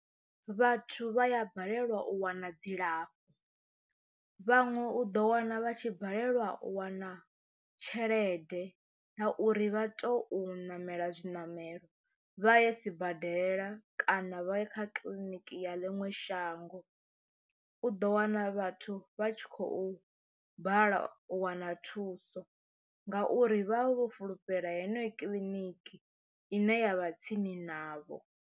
Vhathu vha ya balelwa u wana dzilafho vhaṅwe u ḓo wana vha tshi balelwa u wana tshelede ya uri vha tou ṋamela zwiṋamelo vha ye sibadela kana navho kha kiḽiniki ya ḽiṅwe shango, u ḓo wana vhathu vha tshi khou bala u wana thuso ngauri vha vha vho fulufhela heneyi kiḽiniki ine ya vha tsini navho.